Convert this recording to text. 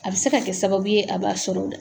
A bɛ se ka kɛ sababu ye a b'a sɔrɔ o la